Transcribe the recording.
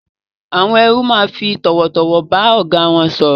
Àwon erú ma fi tòwòtòwò ba ògá won sòrò